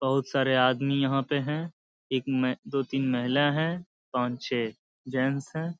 बोहोत सारे आदमी यहाँ पे हैं। एक मै दो तीन महिला है पांच छे जेंस हैं।